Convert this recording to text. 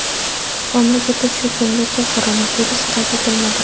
Mamlakatda shu kungacha koronavirus qayd etilmadi.